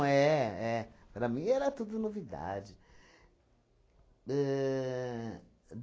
Não, é. É... Para mim era tudo novidade. Ahn